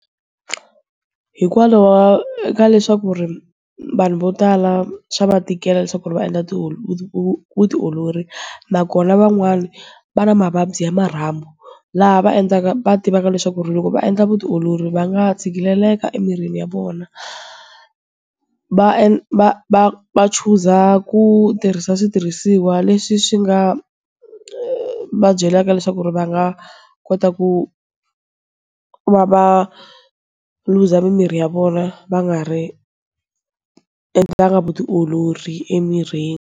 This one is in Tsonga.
Hikwalaho eka leswaku ri, vanhu vo tala, swa va tikela leswaku va endla vutiolori. Nakona van'wani, va na mavabyi ya marhambu, laha va endlaka va tivaka leswaku ri loko va endla vutiolori va nga tshikeleleka emirhini ya vona. Va va va va chuza ku tirhisa switirhisiwa leswi swi nga va byelaka leswaku ri va nga, kota ku va va luza mimirhi ya vona va nga ri endlanga vutiolori emirhini.